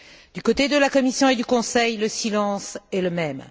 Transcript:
Du côté de la Commission et du Conseil, le silence est le même.